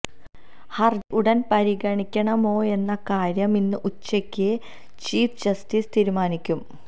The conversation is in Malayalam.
ഹര്ജി ഉടന് പരിഗണിക്കണമോയെന്ന കാര്യം ഇന്ന് ഉച്ചയ്ക്ക് ചീഫ് ജസ്റ്റിസ് തീരുമാനിക്കും